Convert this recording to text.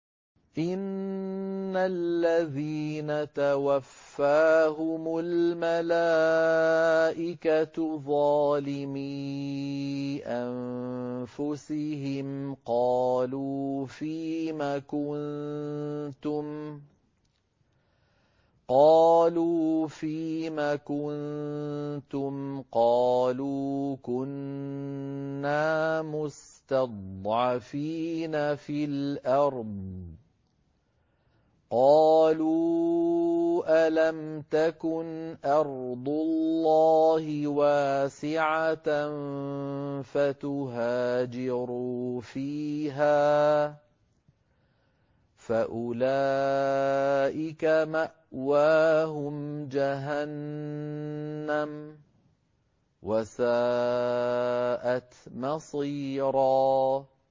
إِنَّ الَّذِينَ تَوَفَّاهُمُ الْمَلَائِكَةُ ظَالِمِي أَنفُسِهِمْ قَالُوا فِيمَ كُنتُمْ ۖ قَالُوا كُنَّا مُسْتَضْعَفِينَ فِي الْأَرْضِ ۚ قَالُوا أَلَمْ تَكُنْ أَرْضُ اللَّهِ وَاسِعَةً فَتُهَاجِرُوا فِيهَا ۚ فَأُولَٰئِكَ مَأْوَاهُمْ جَهَنَّمُ ۖ وَسَاءَتْ مَصِيرًا